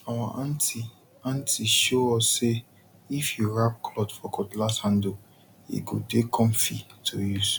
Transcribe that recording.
our aunty aunty show us say if you wrap cloth for cutlass handle e go dey comfy to use